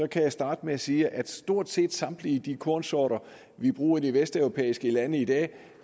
kan jeg starte med at sige at stort set samtlige kornsorter vi bruger i de vesteuropæiske lande i dag er